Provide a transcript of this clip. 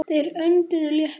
Þeir önduðu léttar.